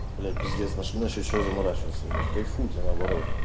блять пиздец нашли на счёт чего заморачиваться ебать кайфуйте наоборот